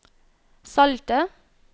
salte